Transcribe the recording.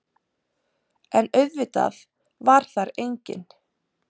En auðvitað var þar enginn.